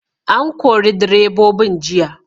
An kori direbobin jiya!